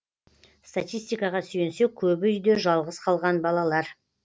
статистикаға сүйенсек көбі үйде жалғыз қалған балалар